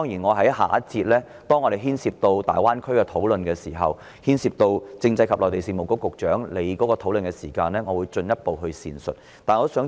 我在下一節有關大灣區的討論當中，在談及政制及內地事務局局長的範疇時，會進一步闡述這個核心課題。